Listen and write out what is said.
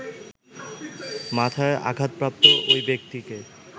মাথায় আঘাতপ্রাপ্ত ঐ ব্যক্তিকে